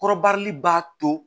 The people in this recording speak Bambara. Kɔrɔbarili b'a to